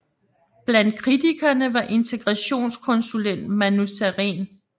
Blandt kritikerne var integrationskonsulent Manu Sareen